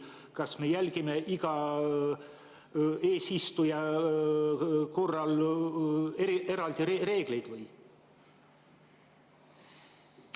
Kas me järgime iga eesistuja korral eri reegleid?